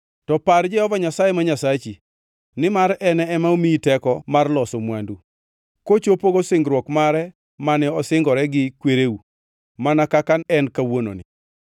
To par Jehova Nyasaye ma Nyasachi, nimar en ema omiyi teko mar loso mwandu, kochopogo singruok mare mane osingore gi kwereu mana kaka en kawuononi.